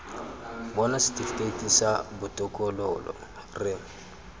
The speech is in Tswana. bona setifikeiti sa botokololo re